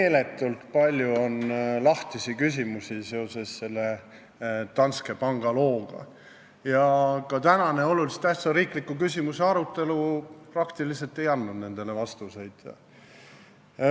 Meeletult palju on lahtisi küsimusi seoses selle Danske panga looga ja ka tänane oluliselt tähtsa riikliku küsimuse arutelu ei andnud nendele praktiliselt vastuseid.